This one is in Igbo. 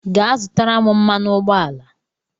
Gaa zụta m mmanụ ụgbọala